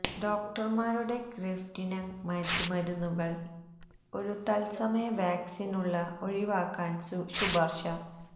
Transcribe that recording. ഡോക്ടർമാരുടെ ഗ്രഫ്തിന്ഗ് മറ്റ് മരുന്നുകൾ ഒരു തൽസമയ വാക്സിൻ ഉള്ള ഒഴിവാക്കാൻ ശുപാർശ